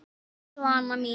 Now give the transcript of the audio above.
Elsku Svana mín.